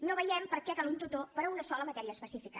no veiem per què cal un tutor per a una sola matèria específica